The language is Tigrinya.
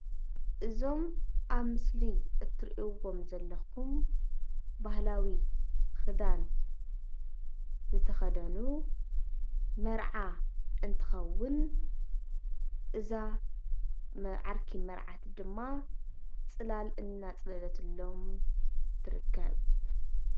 እዞም ኣብ ምስሊ እትሪእዎም ዘለኩም ባህላዊ ክዳን ዝተከደኑ መርዓ እንትከዉን እዛ ዓርኪ መርዓት ድማ ፅላል እናፅለለትሎም ትርከብ።